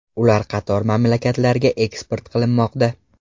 Ular qator mamlakatlarga eksport qilinmoqda.